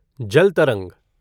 जल तरंग